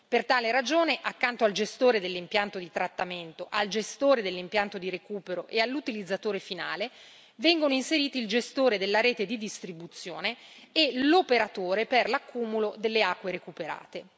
Per tale ragione, accanto al gestore dell'impianto di trattamento, al gestore dell'impianto di recupero e all'utilizzatore finale, vengono inseriti il gestore della rete di distribuzione e l'operatore per l'accumulo delle acque recuperate.